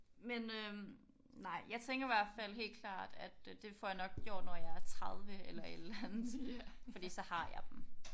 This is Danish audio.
Men øh nej jeg tænker i hvert fald helt klart at det får jeg nok gjort når jeg er 30 eller et eller andet fordi så har jeg dem